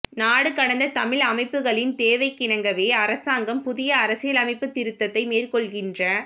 நாடு கடந்த தமிழ் அமைப்புகளின் தேவைக்கிணங்கவே அரசாங்கம் புதிய அரசியலமைப்பு திருத்தத்தை மேற்கொள்கின்ற